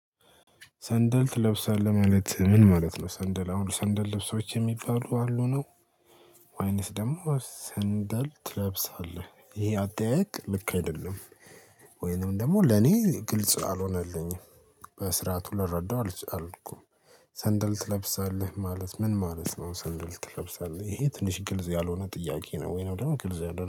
ሰንደል ትለብሳለህ ማለት ምን ማለት ነው ሰንደል አሁን ሰንደል ልብሶች የሚባሉ አሉ ነው ወይንስ ደግሞ ሰንደል ትለብሳለህ ይሄ አጠያየቅ ልክ አይደለም ወይንም ደግሞ ለኔ ግልጽ አልሆነልኝም በስርዓቱ ልረዳው አቻልኩም ሰንደል ትለብሳለህ ማለት ምን ማለት ነው? ሰንደል ትለብሳለህ ይሄ ትንሽ ግልጽ ያልሆነ ጥያቄ ነው ወይንም ደግሞ ግልጽ አልሆነም